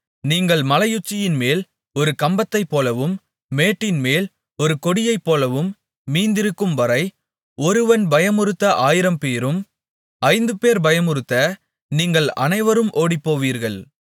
நீங்கள் மலையுச்சியின்மேல் ஒரு கம்பத்தைப்போலவும் மேட்டின்மேல் ஒரு கொடியைப்போலவும் மீந்திருக்கும்வரை ஒருவன் பயமுறுத்த ஆயிரம்பேரும் ஐந்துபேர் பயமுறுத்த நீங்கள் அனைவரும் ஓடிப்போவீர்கள்